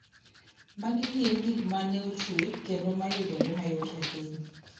Magi gin gik ma ne ochwe kendo ma yudore mayot e piny.